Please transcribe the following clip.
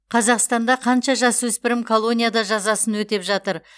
қазақстанда қанша жасөспірім колонияда жазасын өтеп жатыр